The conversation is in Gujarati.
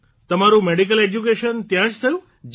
તમારું મેડિકલ એજ્યુકેશન ત્યાં જ થયું